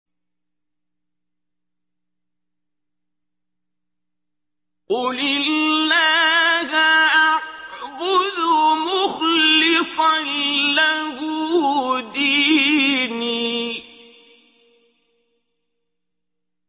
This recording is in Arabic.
قُلِ اللَّهَ أَعْبُدُ مُخْلِصًا لَّهُ دِينِي